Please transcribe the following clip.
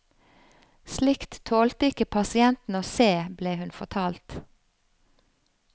Slikt tålte ikke pasientene å se, ble hun fortalt.